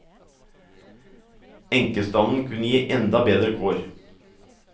Enkestanden kunne gi enda bedre kår.